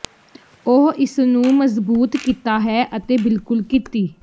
ਉਹ ਇਸ ਨੂੰ ਮਜ਼ਬੂਤ ਕੀਤਾ ਹੈ ਅਤੇ ਬਿਲਕੁਲ ਕੀਤੀ